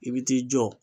I bi t'i jɔ